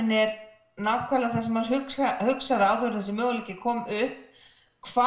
er nákvæmlega það sem maður hugsaði hugsaði áður en þessi möguleiki kom upp hvað